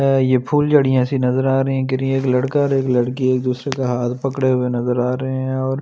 ये फूल जड़ी ऐसी नजर आ रही है कि एक लड़का और एक लड़की एक दूसरे का हाथ पकड़े हुए नजर आ रहे हैं और--